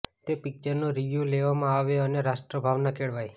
તે પિકચરનો રિવ્યુ લેવામાં આવે અને રાષ્ટ્રભાવના કેળવાય